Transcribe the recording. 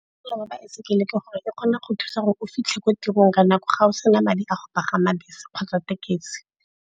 Mosola wa baesekele ke gore e kgona go thusa gore o fitlhe ko tirong ka nako ga o se na madi a go pagama bese kgotsa tekesi.